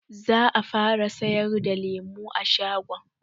Za a fara sayar da lemu a shagon.